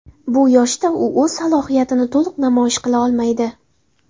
Bu yoshda u o‘z salohiyatini to‘liq namoyish qila olmaydi.